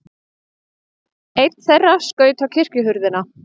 Einn þeirra skaut á kirkjuhurðina.